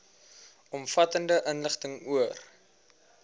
omvattende inligting oor